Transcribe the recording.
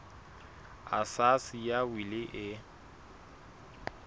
a sa siya wili e